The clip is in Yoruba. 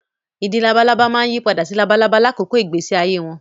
Ìdin labalábá máa yí padà sí labalábá lákòókò ìgbésí ayé wọn